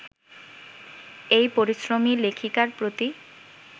এই পরিশ্রমী লেখিকার প্রতি